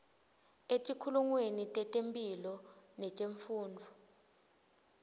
etikhungweni tetemphilo netemfundvo